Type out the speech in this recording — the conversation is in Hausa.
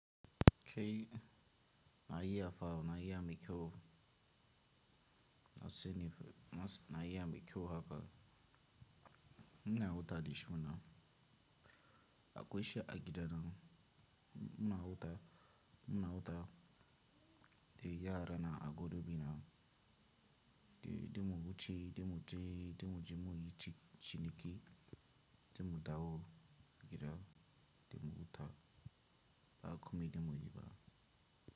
Kai na uya fawo, na iya maikyau, na seni fe, na iya mikiwo haka. Muna wuta dishuna, akweshi agida na muna wuta, muna wuta de yara na agodo bi na de, de mu wuce, de mu je, de mu je muyi ci ciniki, de mu dawo gida, de mu wuta ba kuma de muyi ba.